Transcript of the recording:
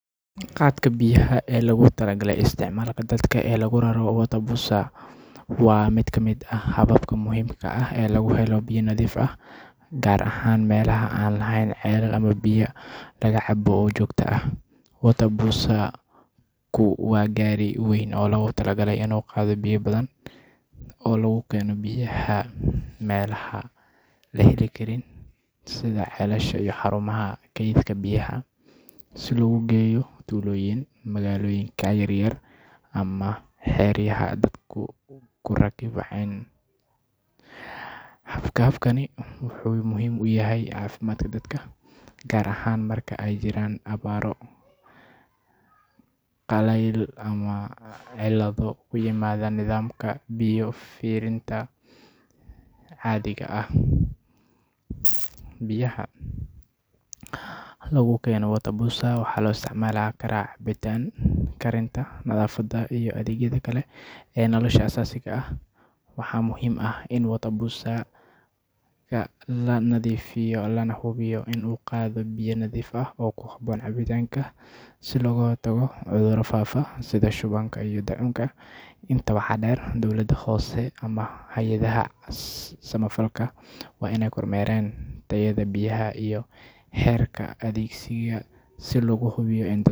Qaadka biyaha ee loogu talagalay isticmaalka dadka ee lagu raro water bozer waa mid ka mid ah hababka muhiimka ah ee lagu helo biyo nadiif ah, gaar ahaan meelaha aan lahayn ceelal ama biyo laga cabo oo joogto ah. Water bozer-ku waa gaari weyn oo loogu talagalay inuu qaado biyo badan oo laga keeno meelaha biyo laga heli karo sida ceelasha ama xarumaha kaydka biyaha, si loogu geeyo tuulooyin, magaalooyinka yaryar, ama xeryaha dadku ku barakaceen. Habkani wuxuu muhiim u yahay caafimaadka dadka, gaar ahaan marka ay jiraan abaaro, qalayl ama cillado ku yimaada nidaamka biyo fidinta caadiga ah. Biyaha lagu keeno water bozer waxaa loo isticmaalaa cabitaanka, karinta, nadaafadda iyo adeegyada kale ee nolosha aasaasiga ah. Waxaa muhiim ah in water bozer-ka la nadiifiyo lana hubiyo in uu qaado biyo nadiif ah oo ku habboon cabbitaanka si looga hortago cudurro faafa sida shubanka iyo daacuunka. Intaa waxaa dheer, dowladda hoose ama hay'adaha samafalka waa inay kormeeraan tayada biyaha iyo heerka adeegsiga si loo hubiyo in dadku.